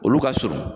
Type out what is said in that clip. Olu ka surun